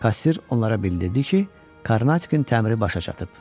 Kassir onlara bildirdi ki, Karnatikin təmiri başa çatıb.